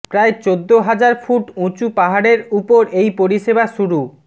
প্রায় চোদ্দ হাজার ফুট উচু পাহাড়ের উপর এই পরিষেবা শুরু